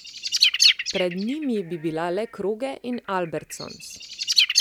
Pred njimi bi bila le Kroge in Albertsons.